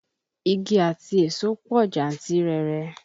Igi àti èso pọ̀ jantirere